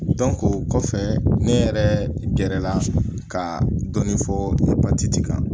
o kɔfɛ ne yɛrɛ gɛrɛ la ka dɔɔnin fɔ kan